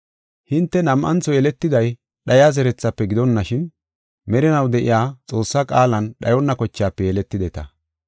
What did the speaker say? Hinte nam7antho yeletiday dhayiya zerethafe gidonashin, merinaw de7iya Xoossaa qaalan dhayonna kochaafe yeletideta.